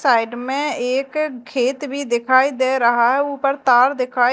side में एक खेत भी दिखाई दे रहा है ऊपर तार दिखाई--